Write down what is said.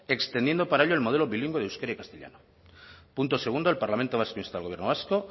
extendiendo para ello el modelo bilingüe de euskera y castellano punto segundo el parlamento vasco insta al gobierno vasco